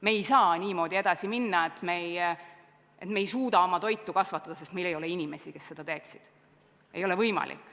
Me ei saa niimoodi edasi minna, et me ei suuda oma toiduks vajalikku kasvatada, sest meil ei ole inimesi, kes seda teeksid.